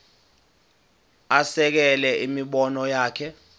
asekele imibono yakhe